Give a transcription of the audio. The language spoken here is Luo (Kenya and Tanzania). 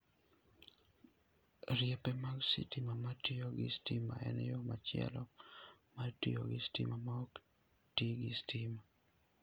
Riepe mag sitima ma tiyo gi stima en yo machielo mar tiyo gi stima ma ok ti gi stima.